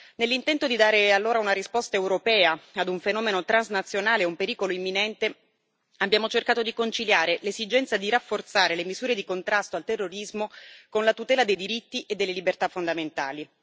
Nell'intento di dare allora una risposta europea ad un fenomeno transnazionale e a un pericolo imminente, abbiamo cercato di conciliare l'esigenza di rafforzare le misure di contrasto al terrorismo con la tutela dei diritti e delle libertà fondamentali.